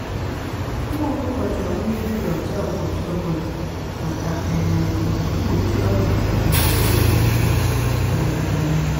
ụmụ ọkụkọ chọrọ mmiri dị ọcha ụbọchị ọbụla maka um mgbochi ọrịa na akpịrị ịkpọ nkụ um